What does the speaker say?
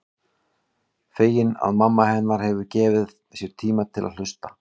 Fegin að mamma hennar hefur gefið sér tíma til að hlusta.